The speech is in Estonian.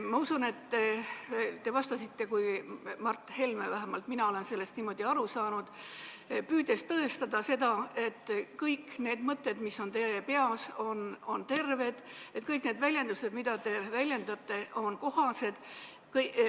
Ma usun, et te vastasite kui Mart Helme – vähemalt mina olen sellest niimoodi aru saanud –, püüdes tõestada seda, et kõik need mõtted, mis on teie peas, on terved mõtted, et kõik need mõtted, mida te väljendate, on kohased.